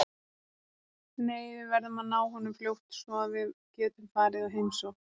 Nei, við verðum að ná honum fljótt svo að við getum farið og heimsótt